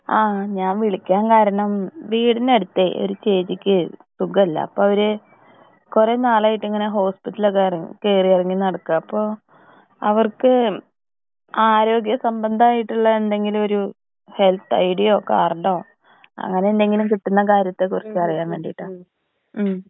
ഹാ ഞാൻ വിളിക്കാൻ കാരണം വീടിന് അടുത്ത് ഒരു ചേച്ചിക്ക് സുഗല്ല അപ്പൊ അവര് കൊറേ നാളായിട്ട് ഇങ്ങനെ ഹോസ്പിറ്റലിലൊക്കെ കേറി ഇറങ്ങി നടക്ക അപ്പൊ അവർക്ക് ആരോഗ്യ സംബന്ധായിട്ടുള്ള എന്തെങ്കിലും ഒരു ഹെല്പ് ഐഡിയോ കാർഡോ അങ്ങനെ എന്തെങ്കിലും കിട്ടുന്ന കാര്യത്തെ കുറിച് അറിയാൻ വേണ്ടീട്ടാ ഉം.